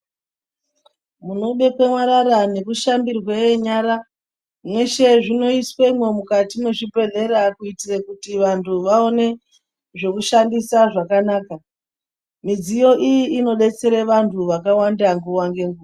Munobekwe marara nekushambire nyara, mweshe zvinoiswemwo mukati mwezvibhedhlera kuitire kuti vantu vaone zvekushandisa zvakanaka. Midziyo iyi inodetsere vantu vakawanda nguwa ngenguwa.